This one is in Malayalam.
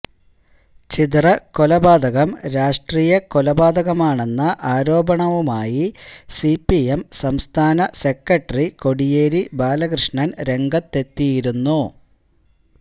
ചിതറ കൊലപാതകം രാഷ്ട്രീയകൊലപാതകമാണെന്ന ആരോപണവുമായി സിപിഎം സംസ്ഥാന സെക്രട്ടറി കോടിയേരി ബാലകൃഷ്ണന് രംഗത്തെത്തിയിരുന്നു